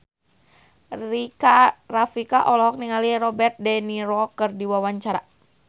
Rika Rafika olohok ningali Robert de Niro keur diwawancara